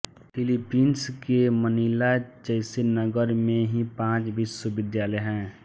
Philippines के Manila जैस नगर में ही पाँच विश्वविद्यालय हैं